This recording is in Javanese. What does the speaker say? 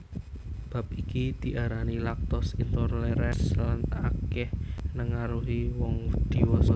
Bab iki diarani lactose intolerance lan akèh nengaruhi wong dhiwasa